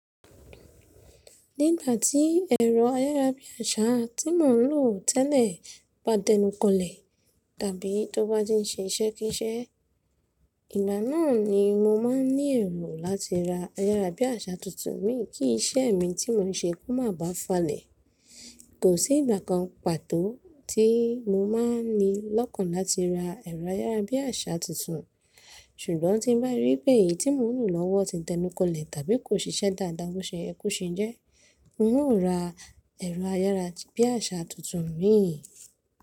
Nígbà tí ẹ̀rọ ayárabíàṣá tí mò ń lò tẹ́lẹ̀ bá dẹnukọlẹ̀, tàbí tó bá ti ń ṣe iṣẹ́ kíṣẹ́, ìgbà náà ni mo máa ní ẹ̀ro láti ra ayárabíàṣá tuntun. Mi kí iṣẹ́ mi tí mò ń ṣe kó má bà falẹ̀. Kò sí ìgbà kan pàtó tí mo máa ní lọ́kàn láti ra ẹ̀rọ ayárabíàṣá tuntun. Ṣùgbọ́n tí n bá rí pé èyí tí mò ń lò lọ́wọ́ ti dẹnukọlẹ̀ tàbí kò ṣiṣẹ́ dáadáa bó ṣe yẹ ko ṣe jẹ́, n ó ra ẹ̀rọ ayárabíàṣá tuntun mi.